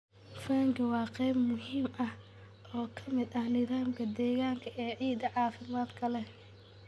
Fungi waa qayb muhiim ah oo ka mid ah nidaamka deegaanka ee ciidda caafimaadka leh.